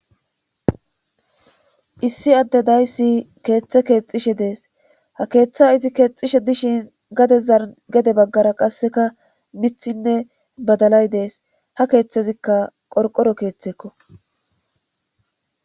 issi adde dayssi keeththe keexxishe dees ha keeththaizi keexxishe dishin gadezan gede baggara qasseka mithinne badalay dees ha keeththezikka qorqoro keeththekko